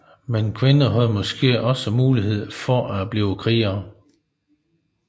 Men kvinder havde måske også mulighed for at blive krigere